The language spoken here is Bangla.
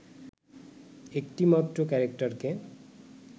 একটিমাত্র ক্যারেক্টারকে